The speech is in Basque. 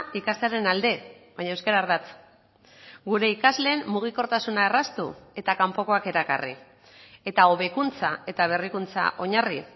ikastearen alde baina euskara ardatz gure ikasleen mugikortasuna erraztu eta kanpokoak erakarri eta hobekuntza eta berrikuntza oinarri